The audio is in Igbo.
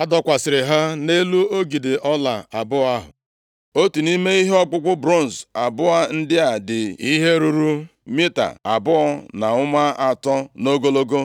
A dọkwasịrị ha nʼelu ogidi ọla abụọ ahụ. Otu nʼime ihe ọkpụkpụ bronz abụọ ndị a dị ihe ruru mita abụọ na ụma atọ nʼogologo.